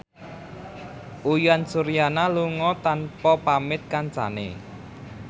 Uyan Suryana lunga tanpa pamit kancane